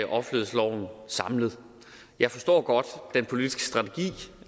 offentlighedsloven samlet jeg forstår godt den politiske strategi i